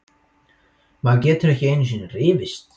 Maður getur ekki einusinni rifist!